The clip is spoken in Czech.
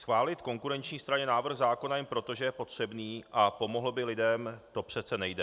Schválit konkurenční straně návrh zákona jen proto, že je potřebný a pomohl by lidem, to přece nejde.